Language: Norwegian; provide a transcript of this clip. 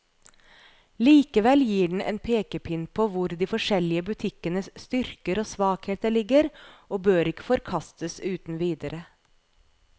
Likevel gir den en pekepinn på hvor de forskjellige butikkenes styrker og svakheter ligger, og bør ikke forkastes uten videre.